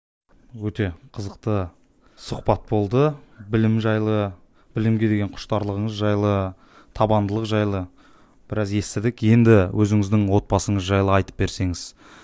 өте қызықты сұхбат болды білім жайлы білімге деген құштарлығыңыз жайлы табандылық жайлы біраз естідік енді өзіңіздің отбасыңыз жайлы айтып берсеңіз